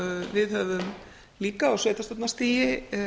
við höfum líka á sveitarstjórnarstigi